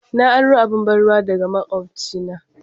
Na aro abun ban'ruwa daga makwabcina.